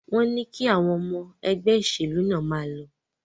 Wọn ní kí àwọn ọmọ ẹgbẹ́ ìṣèlú náà máa lọ?